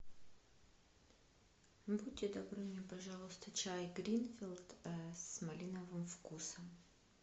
будьте добры мне пожалуйста чай гринфилд с малиновым вкусом